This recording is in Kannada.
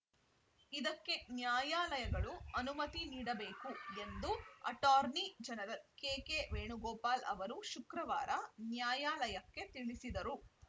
ಇದಕ್ಕೆ ನ್ಯಾಯಾಲಯಗಳು ಅನುಮತಿ ನೀಡಬೇಕು ಎಂದು ಅಟಾರ್ನಿ ಜನರಲ್‌ ಕೆಕೆ ವೇಣುಗೋಪಾಲ್‌ ಅವರು ಶುಕ್ರವಾರ ನ್ಯಾಯಾಲಯಕ್ಕೆ ತಿಳಿಸಿದರು